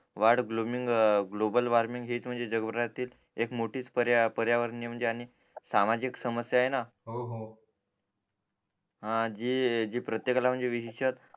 वाढ ग्लोमिंग global warming हेच म्हणजे जग भरातील एक मोठीच पर्यावरणीय अनेक सामाजिक समस्या आहे न हो जी प्रत्येकाला म्हणजे विशिषतः